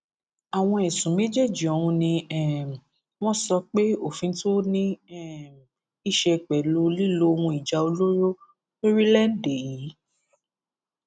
àwọn ẹsùn méjèèjì ọhún ni um wọn sọ pé òfin tó ní um í ṣe pẹlú lílo ohun ìjà olóró lórílẹèdè yìí